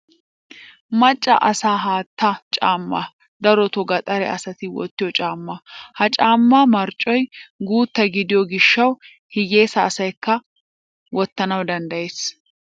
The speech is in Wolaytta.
Macca asaa haatta caammay darotoo gaxare asati wottiyo caamma. Ha caammaa marccoy guutta gidiyo gishshawu hiyyeesa asayikka a wottanawu danddayees.